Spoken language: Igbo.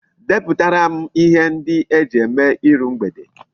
Deputara m ihe ndi eji eme iru mgbede